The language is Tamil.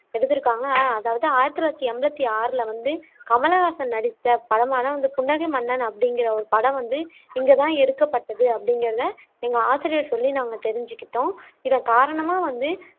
எடுத்துருக்காங்க ஆஹ் அதாவது ஆயிரத்தி தொள்ளாயிரத்தி எண்பத்தி ஆறுல வந்து கமல்ஹாசன் நடித்த படமான அந்த புன்னகை மன்னன் அப்படிகுற ஒரு படம் வந்து இங்க தான் வந்து எடுக்கப்பட்டது அப்படிகுறதை எங்க ஆசிரியர் சொல்லி நாங்க தெரிஞ்சுகிட்டோம். இதன் காரணமா வந்து